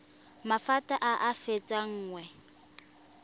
maphata a a fetang nngwe